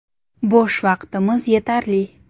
Bo‘sh vaqtimiz yetarli.